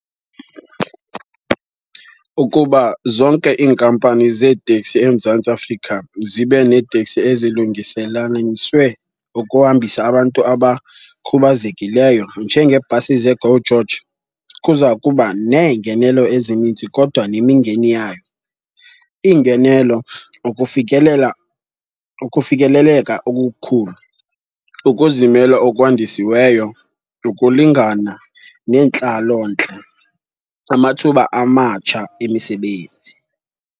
Ukuba zonke iinkampani zeetekisi eMzantsi Afrika zibe neeteksi ezilungiselaleniswe ukuhambisa abantu abakhubazekileyo njengeebhasi zeGo George kuza kuba neengenelo ezininzi kodwa nemingeni yayo. Iingenelo, ukufikelela, ukufikeleleka okukhulu, ukuzimela okwandisiweyo, ukulingana nentlalontle, amathuba amatsha emisebenzi.